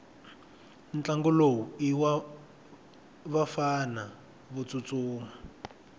ntlangu lowu iwavafana votsutsuma